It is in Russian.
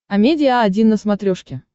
амедиа один на смотрешке